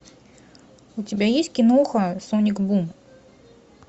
у тебя есть киноха соник бум